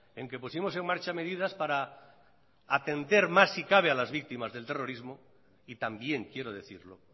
en que pusimos en marcha medidas para atender más si cabe a las víctimas del terrorismo y también quiero decirlo